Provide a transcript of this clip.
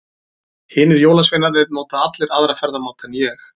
Hinir jólasveinarnir nota allir aðra ferðamáta en ég.